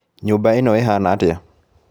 Nyũmba ĩno ĩhana atĩa?